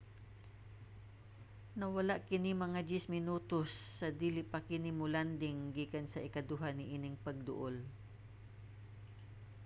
nawala kini mga 10 minutos sa dili pa kini mo-landing gikan sa ikaduha niining pagduol